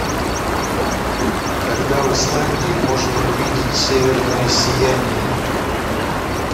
когда в исландии можно увидеть северное сияние